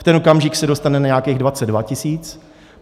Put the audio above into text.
V ten okamžik se dostane na nějakých 22 tisíc.